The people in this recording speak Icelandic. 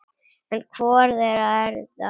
En hvor þeirra er það?